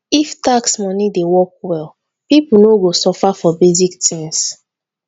if tax money dey work well people no go suffer for basic things.